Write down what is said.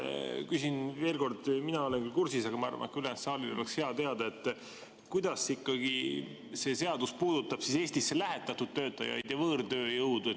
Küsin veel kord – mina olen küll kursis, aga ma arvan, et ka ülejäänud saalil oleks hea teada –, kuidas ikkagi see seadus puudutab Eestisse lähetatud töötajaid ja võõrtööjõudu.